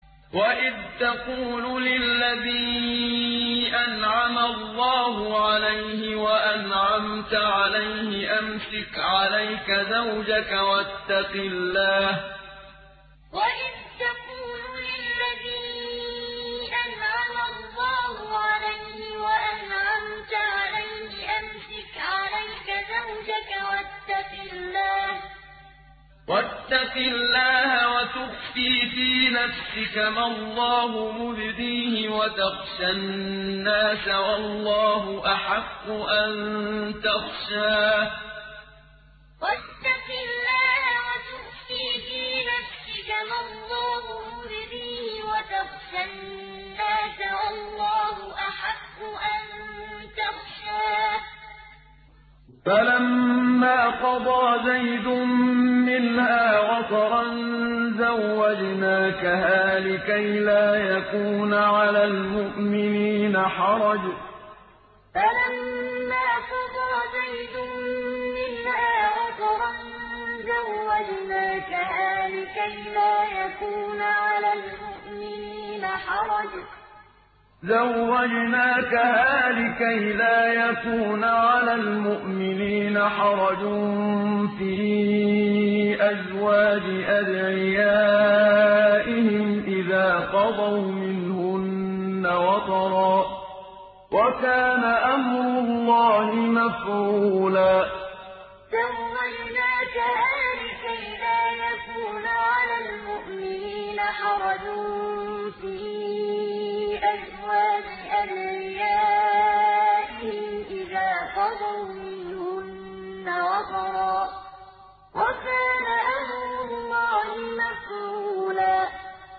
وَإِذْ تَقُولُ لِلَّذِي أَنْعَمَ اللَّهُ عَلَيْهِ وَأَنْعَمْتَ عَلَيْهِ أَمْسِكْ عَلَيْكَ زَوْجَكَ وَاتَّقِ اللَّهَ وَتُخْفِي فِي نَفْسِكَ مَا اللَّهُ مُبْدِيهِ وَتَخْشَى النَّاسَ وَاللَّهُ أَحَقُّ أَن تَخْشَاهُ ۖ فَلَمَّا قَضَىٰ زَيْدٌ مِّنْهَا وَطَرًا زَوَّجْنَاكَهَا لِكَيْ لَا يَكُونَ عَلَى الْمُؤْمِنِينَ حَرَجٌ فِي أَزْوَاجِ أَدْعِيَائِهِمْ إِذَا قَضَوْا مِنْهُنَّ وَطَرًا ۚ وَكَانَ أَمْرُ اللَّهِ مَفْعُولًا وَإِذْ تَقُولُ لِلَّذِي أَنْعَمَ اللَّهُ عَلَيْهِ وَأَنْعَمْتَ عَلَيْهِ أَمْسِكْ عَلَيْكَ زَوْجَكَ وَاتَّقِ اللَّهَ وَتُخْفِي فِي نَفْسِكَ مَا اللَّهُ مُبْدِيهِ وَتَخْشَى النَّاسَ وَاللَّهُ أَحَقُّ أَن تَخْشَاهُ ۖ فَلَمَّا قَضَىٰ زَيْدٌ مِّنْهَا وَطَرًا زَوَّجْنَاكَهَا لِكَيْ لَا يَكُونَ عَلَى الْمُؤْمِنِينَ حَرَجٌ فِي أَزْوَاجِ أَدْعِيَائِهِمْ إِذَا قَضَوْا مِنْهُنَّ وَطَرًا ۚ وَكَانَ أَمْرُ اللَّهِ مَفْعُولًا